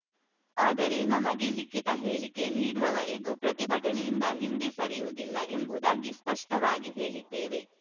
ಆದರೆ ನಮಗೆ ಲಿಖಿತ ಹೇಳಿಕೆ ನೀಡುವವರೆಗೂ ಪ್ರತಿಭಟನೆಯಿಂದ ಹಿಂದೆ ಸರಿಯುವುದಿಲ್ಲಎಂಬುದಾಗಿ ಸ್ಪಷ್ಟವಾಗಿ ಹೇಳಿದ್ದೇವೆ